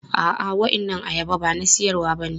A'a, waɗannan ayaba ba na siyarwa bane.